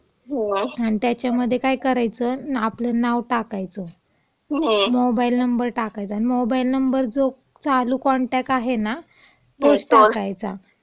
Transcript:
आणि त्याच्यामध्ये काय करायचं, आपलं नाव टाकायचं, मोबाईल नंबर टाकायचा आणि मोबाईल नंबर जो चालू कॉनटॅक्ट आहे ना, तोच टाकायचा.